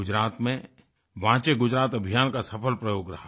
गुजरात में वांचे गुजरात अभियान एक सफल प्रयोग रहा